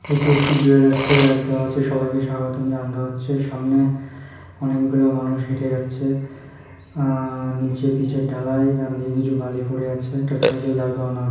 এটি একটি জুয়েলার্স -এর আর দেওয়া আছে সবাইকে স্বাগতম জানানো হচ্ছে সামনে অনেকগুলো মানুষ হেঁটে যাচ্ছে আ নিচে পিচের ঢালাই ডান দিকে কিছু বালি পড়ে আছে একটা সাইকেল দাঁড় করানো আ --